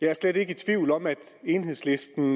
jeg er slet ikke i tvivl om at enhedslisten